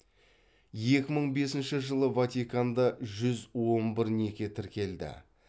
екі мың бесінші жылы ватиканда жүз он бір неке тіркелді